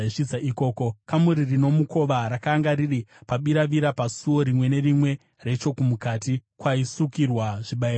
Kamuri rino mukova rakanga riri pabiravira pasuo rimwe nerimwe rechomukati, kwaisukirwa zvibayiro zvinopiswa.